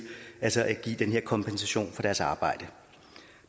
altså at give den her kompensation for deres arbejde